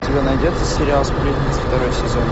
у тебя найдется сериал сплетницы второй сезон